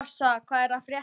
Marsa, hvað er að frétta?